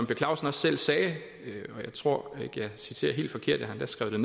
per clausen også selv sagde jeg tror ikke at jeg citerer helt forkert jeg har endda skrevet